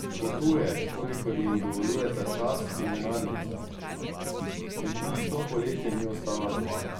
Potuje, kolikor ji dovoljujeta čas in denarnica, in tudi to poletje ni ostala doma.